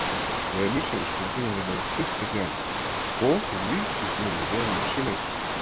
Venus hefur stundum verið nefnd systir jarðar og hún líkist jörðinni að ýmsu leyti.